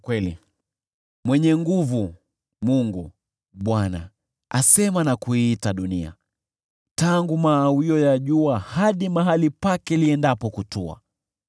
Mwenye Nguvu, Mungu, Bwana , asema na kuiita dunia, tangu mawio ya jua hadi mahali pake liendapo kutua.